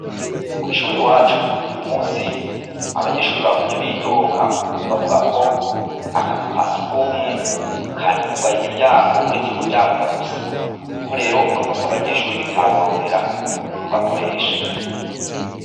Kwishure iwacu abanyeshure bagumye bidoga, bavuga ko akazu kasugumwe kari kugaye imiryango uretse umuryango umwe gusa niko rero abanyeshure bitaboroheye kugakoresha.